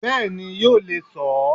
Bẹ́ẹ̀ni yóò le so ó